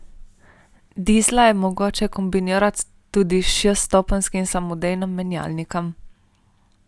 Dizla je mogoče kombinirati tudi s šeststopenjskim samodejnim menjalnikom.